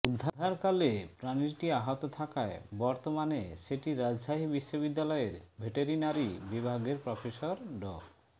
উদ্ধারকালে প্রাণীটি আহত থাকায় বর্তমানে সেটি রাজশাহী বিশ্ববিদ্যালয়ের ভেটেরিনারী বিভাগের প্রফেসর ড